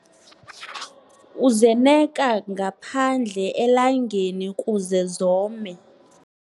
Uzeneka ngaphandle elangeni kuze zome.